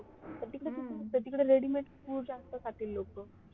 तिकडे तिकडे ready-made food जास्त खातील लोक